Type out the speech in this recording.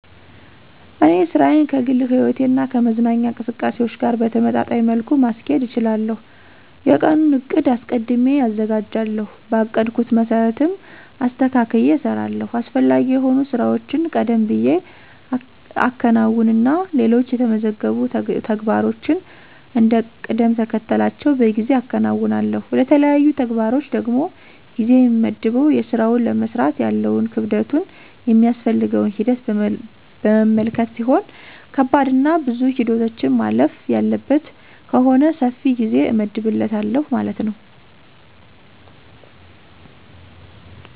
እኔ ሥራዬን ከግል ሕይወቴ እና ከመዝናኛ እንቅስቃሴዎች ጋር በተመጣጣኝ መልኩ ማስኬድ እችላለሁ። የቀኑን ዕቅድ አስቀድሜ አዘጋጃለሁ, በአቀድኩት መሰረትም አስተካክየ እሰራለሁ። አስፈላጊ የሆኑ ሥራዎችን ቀደም ብየ አከናውንና ሌሎች የተመዘገቡ ተግባሮችን እንደ ቅደምተከተላቸው በጊዜ አከናውናለሁ። ለተለያዩ ተግባሮች ደግሞ ጊዜ የምመድበው የስራውን ለመስራት ያለውን ክብደቱን ,የሚያስፈልገውን ሂደት በመመልከት ሲሆን ከባድና ብዙ ሂደቶችን ማለፍ ያለበት ከሆነ ሰፊ ጊዜ እመድብለታለሁ ማለት ነው።